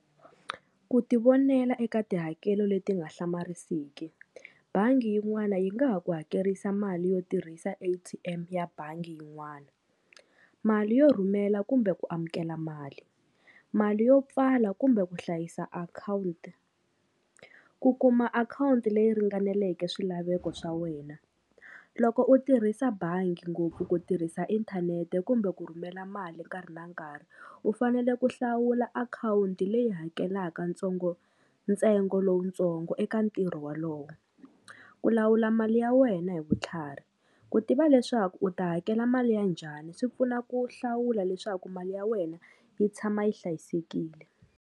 Ku ti vonela eka tihakelo leti nga hlamarisiki bangi yin'wana yi nga ha ku hakerisa mali yo tirhisa A_T_M ya bangi yin'wani mali yo rhumela kumbe ku amukela mali mali yo pfala kumbe ku hlayisa akhawunti ku kuma akhawunti leyi ringaneleke swilaveko swa wena loko u tirhisa bangi ngopfu ku tirhisa inthanete kumbe ku rhumela mali nkarhi na nkarhi u fanele ku hlawula akhawunti leyi hakelaka ntsongo ntsengo lowutsongo eka ntirho walowo ku lawula mali ya wena hi vutlhari ku tiva leswaku u ta hakela mali ya njhani swi pfuna ku hlawula leswaku mali ya wena yi tshama yi hlayisekile.